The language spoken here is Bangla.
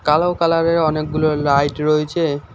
কালো কালারের অনেকগুলো লাইট রয়েছে।